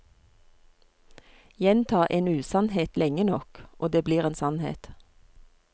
Gjenta en usannhet lenge nok, og det blir en sannhet.